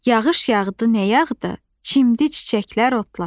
Yağış yağdı nə yağdı, çimdi çiçəklər otlar.